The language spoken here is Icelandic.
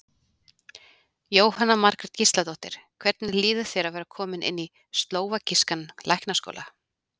Jóhanna Margrét Gísladóttir: Hvernig líður þér að vera kominn inn í slóvakískan læknaskóla?